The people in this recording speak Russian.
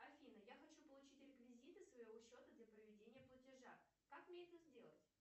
афина я хочу получить реквизиты своего счета для проведения платежа как мне это сделать